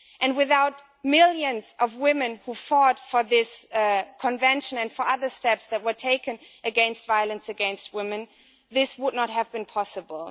Without the millions of women who fought for this Convention and for other steps that were taken against violence against women, this would not have been possible.